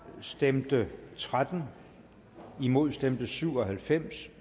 stemte tretten imod stemte syv og halvfems